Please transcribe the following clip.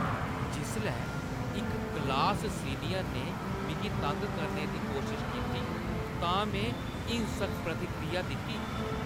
जिसलै इक class senior ने मिगी तंग करने दी कोशश कीती तां में हिंसक प्रतिक्रिया दित्ती